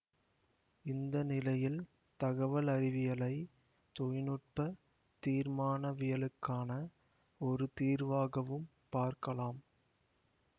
இந்த நிலையில் தகவல் அறிவியலை தொழில் நுட்ப தீர்மானவியலுக்கான ஒரு தீர்வாகவும் பார்க்கலாம்